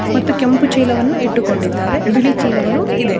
ಮತ್ತು ಕೆಂಪು ಚೀಲವನ್ನು ಇಟ್ಟುಕೊಂಡಿದ್ದಾರೆ ಬಿಳಿ ಚೀಲವು ಇದೆ.